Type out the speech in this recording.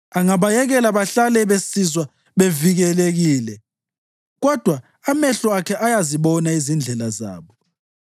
Angabayekela bahlale besizwa bevikelekile, kodwa amehlo akhe ayazibona izindlela zabo.